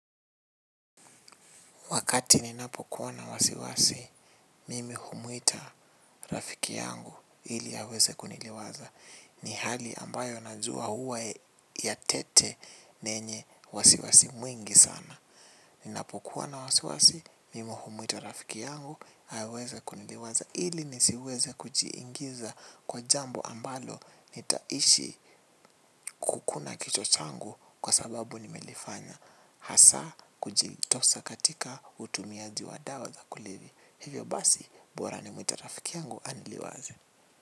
Wakati ninapokuwa na wasiwasi mimi humuita rafiki yangu ili aweze kuniliwaza. Ni hali ambayo najua huwa ya tete na ynye wasiwasi mwingi sana. Ninapokuwa na wasiwasi, mimi humwita rafiki yangu haweze kuniliwaza. Hili nisiweze kujiingiza kwa jambo ambalo nitaishi kukuna kichwa changu kwa sababu nimelefanya. Hasa kujitosa katika utumia diwa za kulevya hivyo basi bora nimwite rafiki yangu aniliwaze.